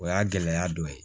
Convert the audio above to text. O y'a gɛlɛya dɔ ye